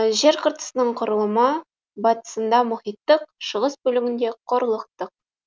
жер қыртысының құрылымы батысында мұхиттық шығыс бөлігінде құрлықтық